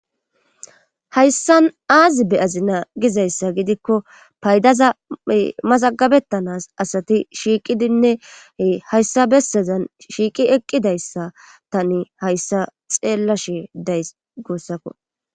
hayssan aazi be azinaa gizayssa gidikko paydaza masagabettanas asati shiiqidinne hayssa bessazan shiiqi eqqidayssa tani hayssa xeella she days goossakko